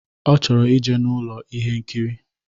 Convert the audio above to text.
Ọ chọrọ ije n'Ụlọ ihe nkiri.